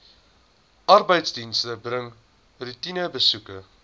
arbeidsdienste bring roetinebesoeke